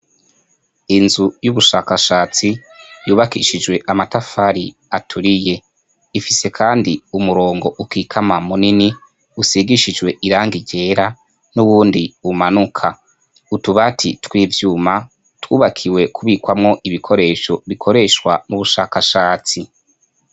inzu y'ubushakashatsi yubakishijwe amatafari aturiye, ifise kandi umurongo ukikama munini usigishijwe irangi ryera n'uwuundi umanuka, utubati tw'ivyuma twubakiwe kubikwamwo ibikoresho bikoreshwa n'ubushakashatsi.